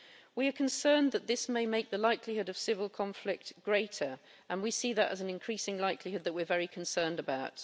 We are concerned that this may make the likelihood of civil conflict greater, and we see that as an increasing likelihood that we are very concerned about.